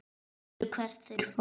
Sástu hvert þeir fóru?